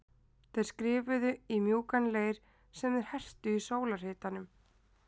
Þeir skrifuðu í mjúkan leir sem þeir hertu í sólarhitanum.